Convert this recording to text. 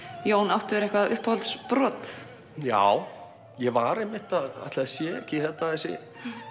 Jón áttu þér eitthvað uppáhaldsbrot já ég var einmitt að ætli það sé ekki þessi